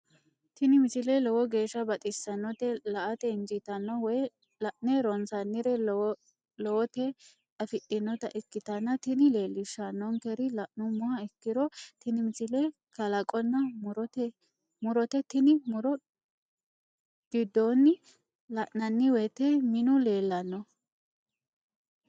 tini misile lowo geeshsha baxissannote la"ate injiitanno woy la'ne ronsannire lowote afidhinota ikkitanna tini leellishshannonkeri la'nummoha ikkiro tini misile kalaqonna murote tini muro giddoonni la'nanni woyte minu leellanno.